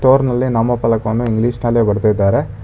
ಪೊರ್ನಲ್ಲಿ ನಾಮ ಫಲಕವನ್ನು ಇಂಗ್ಲೀಷ್ ನಲ್ಲಿ ಬರ್ದಿದ್ದಾರೆ.